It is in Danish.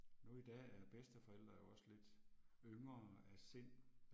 Nu i dag er bedsteforældre jo også lidt yngre af sind